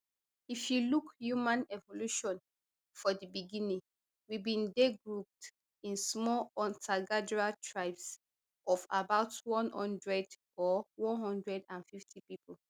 if you look human evolution for di beginning we bin dey grouped in small huntergatherer tribes of about one hundred or one hundred and fifty pipo